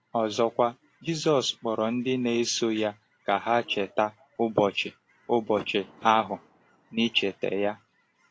Ọzọkwa, Jizọs kpọrọ ndị na-eso ya ka ha cheta ụbọchị ụbọchị ahụ n’icheta ya.